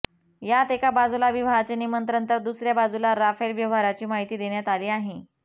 यात एका बाजूला विवाहाचे निमंत्रण तर दुसऱया बाजूला राफेल व्यवहाराची माहिती देण्यात आली आहे